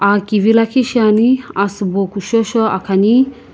akivi liikhi sheaiini asiibo kusho sho akhani.